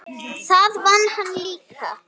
Það vann hann líka.